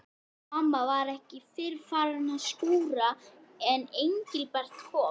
Mamma var ekki fyrr farin að skúra en Engilbert kom.